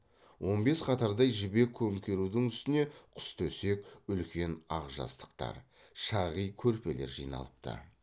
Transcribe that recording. он бес қатардай жібек көмкерудің үстіне құстөсек үлкен ақ жастықтар шағи көрпелер жиналыпты